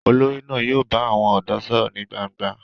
Olórí náà yóò bá àwọn ọ̀dọ́ sọ̀rọ̀ ní gbangba